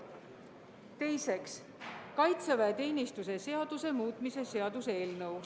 Teiseks, kaitseväeteenistuse seaduse muutmise seaduse eelnõu.